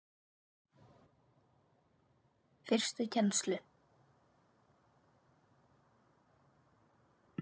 Fyrstu kennslu